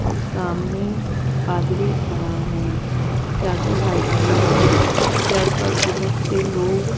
और सामने पादरी खड़ा है उसके हाथ में बाइबल है उसके आस-पास बहोत से लोग --